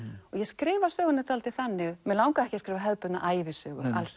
og ég skrifa söguna dálítið þannig mig langaði ekki að skrifa hefðbundna ævisögu